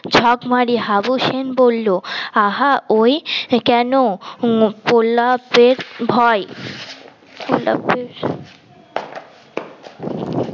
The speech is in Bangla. ঝাপ মারি হাবু সেন বলল আহা ওই কেন গোলাপের ভয় গোলাপের